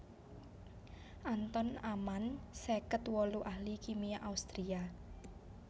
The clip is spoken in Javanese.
Anton Amann seket wolu ahli kimia Austria